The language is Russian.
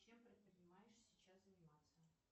чем предпринимаешь сейчас заниматься